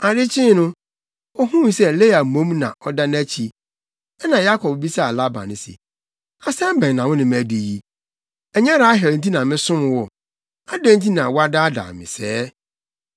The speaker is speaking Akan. Ade kyee no, ohuu sɛ Lea mmom na ɔda nʼakyi. Ɛnna Yakob bisaa Laban se, “Asɛm bɛn na wo ne me adi yi? Ɛnyɛ Rahel nti na mesom wo? Adɛn nti na woadaadaa me sɛɛ?”